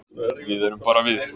Við erum bara við.